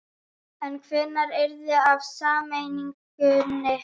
En hvenær yrði af sameiningunni?